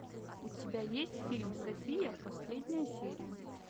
у тебя есть фильм софия последняя серия